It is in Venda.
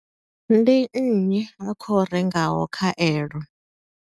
Ndi nnyi a khou rengaho khaelo?